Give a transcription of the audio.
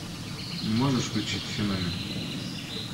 можешь включить феномен